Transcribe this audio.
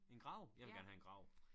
En grav? Jeg vil gerne have en grav